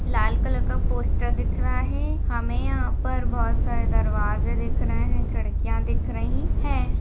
लाल colour का poster दिख रहा है हमे यहाँ पर बहुत सारे दरवाजे दिख रहे है खिड्किया दिख रही है।